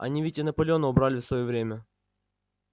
они ведь и наполеона убрали в своё время